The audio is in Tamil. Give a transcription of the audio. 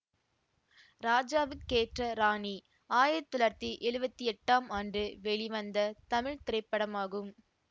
ராஜாவுக்கேற்ற ராணி ஆயிரத்தி தொள்ளாயிரத்தி எழுவத்தி எட்டாம் ஆண்டு வெளிவந்த தமிழ் திரைப்படமாகும்